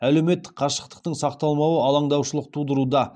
әлеуметтік қашықтықтың сақталмауы алаңдаушылық тудыруда